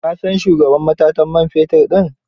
Ka san shugaban matatar man fetin din?